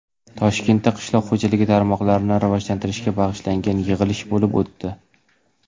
Toshkentda qishloq xo‘jaligi tarmoqlarini rivojlantirishga bag‘ishlangan yig‘ilish bo‘lib o‘tdi.